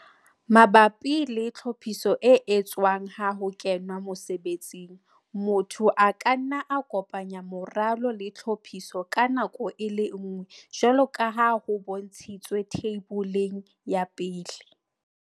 Mabapi le tlhophiso e etswang ha ho kenwa mosebetsing, motho a ka nna a kopanya moralo le tlhophiso ka nako e le nngwe jwalo ka ha ho bontshitswe theiboleng ya 1.